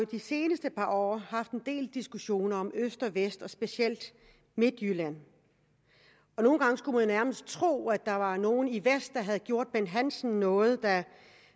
de seneste par år haft en del diskussioner om øst vest og specielt midtjylland nogle gange skulle man nærmest tro at der var nogle i vest der havde gjort bent hansen noget da